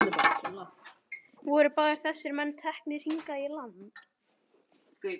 Voru báðir þessir menn teknir hingað í land.